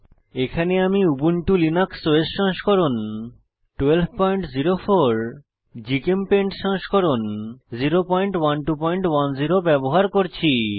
এখানে আমি Ubuntu Linux OS সংস্করণ 1204 জিচেমপেইন্ট সংস্করণ 01210 ব্যবহার করছি